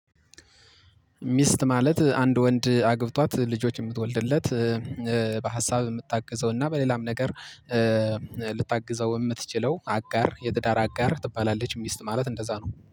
ሚስት ማለት አንድ ወንድ አግብቷት ልጆች የምትወልድለት በሀሳብ የምታግዘው እና በሌላም ነገር ልታግዘው የምትችለው አጋር የትዳር አጋር ትባላለች። ሚስት ማለት እንደዛ ነው